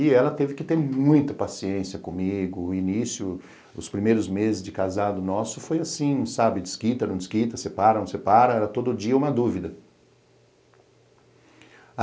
E ela teve que ter muita paciência comigo, o início, os primeiros meses de casado nosso foi assim, sabe, desquita, não desquita, separam, separam, era todo dia uma dúvida.